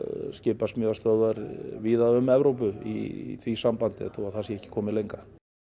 skipasmíðastöðvar víða um Evrópu í því sambandi þó það sé ekki komið lengra